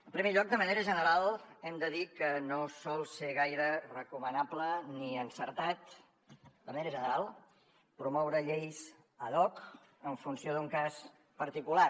en primer lloc de manera general hem de dir que no sol ser gaire recomanable ni encertat de manera general promoure lleis ad hoc en funció d’un cas particular